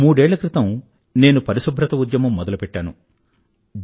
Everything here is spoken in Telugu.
మూడేళ్ళ క్రితం నేను పరిశుభ్రత ఉద్యమం మొదలుపెట్టాను